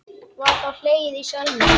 Var þá hlegið í salnum.